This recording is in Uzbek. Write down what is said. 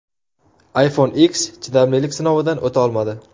iPhone X chidamlilik sinovidan o‘ta olmadi.